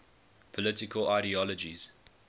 political ideologies